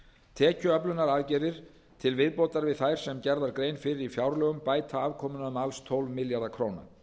tekjuöflunaraðgerðir til viðbótar við þær sem gerð var grein fyrir í fjárlögum bæta afkomuna um alls tólf milljarða króna